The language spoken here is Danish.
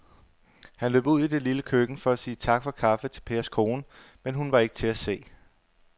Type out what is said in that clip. Han løb ud i det lille køkken for at sige tak for kaffe til Pers kone, men hun var ikke til at se.